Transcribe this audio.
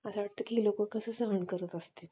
असं वाटतं की ही लोकं कसं सहन करत असतील